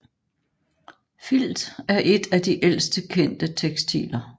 Filt er et af de ældste kendte tekstiler